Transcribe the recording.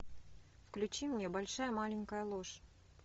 включи мне большая маленькая ложь